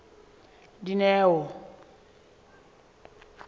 dineo